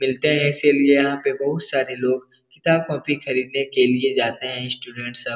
मिलते हैं इसलिए यहाँ पे बहुत सारे लोग किताब-कॉपी खरीदने के लिए जाते हैं स्टूडेंट्स सब ।